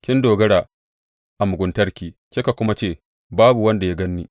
Kin dogara a muguntarki kika kuma ce, Babu wanda ya gan ni.’